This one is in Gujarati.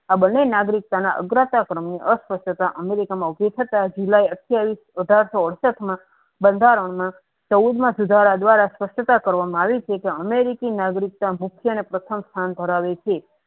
આબ બને નાગરિક અગ્રતા ક્રમે તથા અમેરિકા જિલ્લાએ અઢાર સો અડસઠ માં બંધારણ માં ચૌદમા સુધારા સ્પષ્ટતા કરવામાં આવી છે કે અમેરિકી નાગરિકતા પ્રથમ સ્થાન ધરાવે છે.